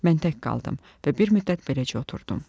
Mən tək qaldım və bir müddət beləcə oturdum.